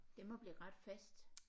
Det må blive ret fast